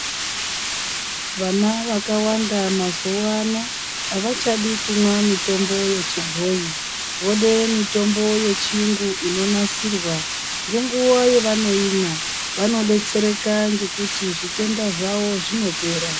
Vana vakawanda mazuwa ano avachadi kumwa mitombo yechibhoyi vode mitombo yechirungu inonasirwa ngenguwa yavanoimwa. Vanodetsereka ngekuti zvitenda zvawo zvinopera.